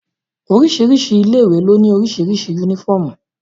Oríṣiríṣi ilé ìwé ló ní oríṣiríṣi yúnífọ̀mù